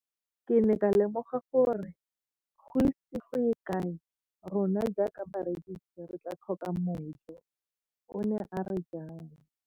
Ke ne ka lemoga gore go ise go ye kae rona jaaka barekise re tla tlhoka mojo, o ne a re jalo.